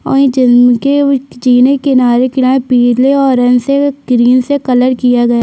और ये जमीन के जीने के किनारे- किनारे पिले ऑरेंज से ग्रीन से कलर किया गया --